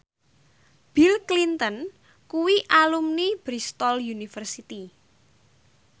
Bill Clinton kuwi alumni Bristol university